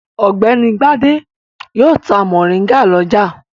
Ọ̀gbẹ́ni Gbadé yóò ta mòríngà lọ́jà.